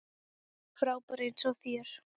Frábær eins og þér.